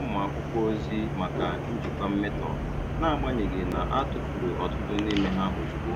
um akwụkwọ ozi maka njikwa mmetọ, n'agbanyeghị na a tufuru ọtụtụ n'ime ha ozugbo.